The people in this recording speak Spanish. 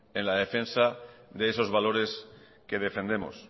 en la defensa de esos valores que defendemos